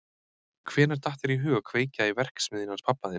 Hvenær datt þér í hug að kveikja í verksmiðjunni hans pabba þíns?